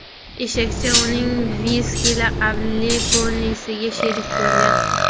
Eshakcha uning Viski laqabli ponisiga sherik bo‘lgan.